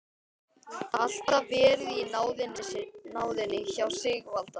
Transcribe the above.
Alltaf verið í náðinni hjá Sigvalda.